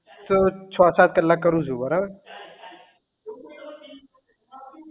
તો છ સાત કલાક કરું છું બરાબર